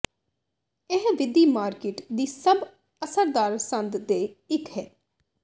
ਇਹ ਵਿਧੀ ਮਾਰਕੀਟ ਦੀ ਸਭ ਅਸਰਦਾਰ ਸੰਦ ਦੇ ਇੱਕ ਹੈ